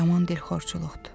Yaman dilxorçuluqdur.